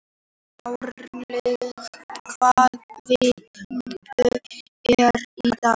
Hrafnlaug, hvaða vikudagur er í dag?